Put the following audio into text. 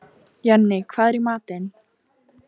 Jenni, hvað er í matinn?